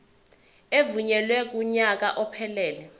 evunyelwe kunyaka ophelele